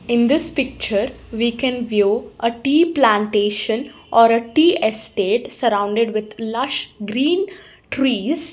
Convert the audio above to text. in this picture we can view a tea plantation or a tea estate surrounded with lush green trees.